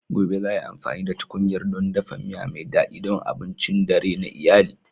Gobe, za ai amfani da tkunyar don dafa miya mai daɗi don abincin dare na iyali.